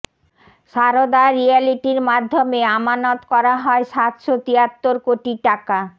সারদা রিয়ালেটির মাধ্যনমে আমানত করা হয় সাতশ তিয়াত্তর কোটি টাকা